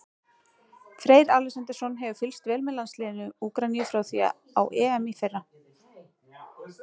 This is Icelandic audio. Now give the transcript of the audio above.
Freyr Alexandersson hefur fylgst vel með landsliði Úkraínu frá því á EM í fyrra.